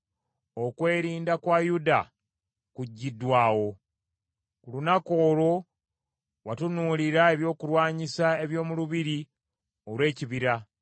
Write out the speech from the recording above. Okwerinda kwa Yuda kuggyiddwawo. Ku lunaku olwo watunuulira ebyokulwanyisa eby’omu Lubiri olw’Ekibira.